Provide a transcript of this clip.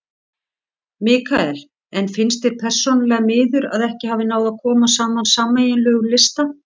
Mikael: En finnst þér persónulega miður að ekki hafi náð að koma saman sameiginlegum lista?